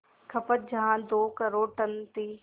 खपत जहां दो करोड़ टन थी